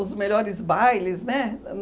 Os melhores bailes, né? ãh